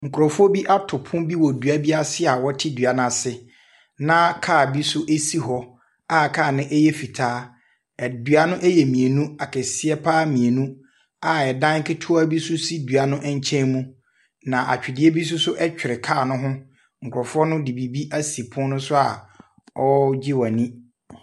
Nkrɔfoɔ bi ato pono wɔ dua bi ase a wɔte dua no ase na car bi nso si hɔ a car no yɛ fitaa. Dua no yɛ mmienu. Akɛseɛ pa ara mmienu a dan ketewa bi nso si dua no nkyɛn mu. Na atwedeɛ bi nso twere car no ho. Nrɔfoɔ no de biribi asi pon no so a wɔregye wɔn ani.